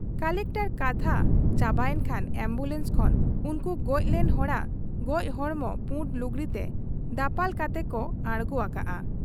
ᱠᱚᱞᱮᱠᱴᱚᱨᱟᱜ ᱠᱟᱛᱷᱟ ᱪᱟᱵᱟᱭᱮᱱ ᱠᱷᱟᱱ ᱟᱢᱵᱩᱞᱟᱱᱥ ᱠᱷᱚᱱ ᱩᱱᱠᱩ ᱜᱚᱡ ᱞᱮᱱ ᱦᱚᱲᱟᱜ ᱜᱚᱡ ᱦᱚᱲᱢᱚ ᱯᱩᱸᱰ ᱞᱩᱜᱽᱲᱤᱛᱮ ᱫᱟᱯᱟᱞ ᱠᱟᱛᱮ ᱠᱚ ᱟᱬᱜᱚ ᱟᱠᱟᱜ ᱟ᱾